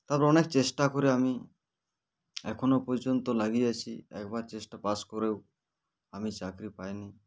তারপর অনেক চেষ্টা করে আমি এখনো পর্যন্ত লাগিয়াছি একবার চেষ্টা pass করেও আমি চাকরি পাইনি